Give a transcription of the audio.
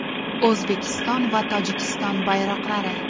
O‘zbekiston va Tojikiston bayroqlari.